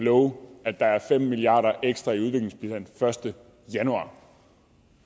love at der er fem milliarder ekstra i udviklingsbistand første januar